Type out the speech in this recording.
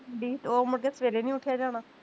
ਓ ਮੁੜ ਕੇ ਸਵੇਰੇ ਨੀ ਉਠਿਆ ਜਾਣਾ